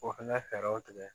O fɛnɛ fɛɛrɛw tigɛ